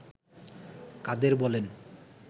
কাদের বলেন